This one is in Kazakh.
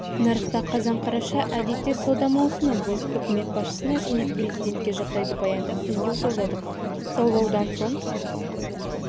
нарықта қазан-қараша әдетте сауда маусымы біз үкімет басшысына және президентке жағдайды баяндап үндеу жолдадық саулаудан соң